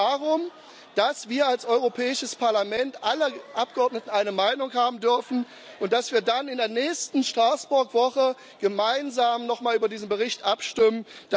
Es geht heute darum, dass wir als Europäisches Parlament alle Abgeordneten eine Meinung haben dürfen, und dass wir dann in der nächsten Straßburg Woche gemeinsam noch mal über diesen Bericht abstimmen.